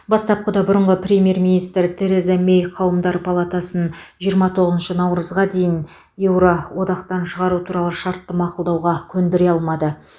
бастапқыда бұрынғы премьер министр тереза мэй қауымдар палатасын жиырма тоғызыншы наурызға дейін еуро одақтан шығу туралы шартты мақұлдатуға көндіре алмады